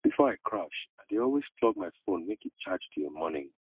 before i crash i dey always plug my phone make e charge till morning